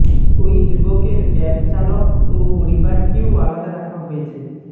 ওই যুবকের ক্যাব চালক ও পরিবারকেও আলাদা রাখা হয়েছে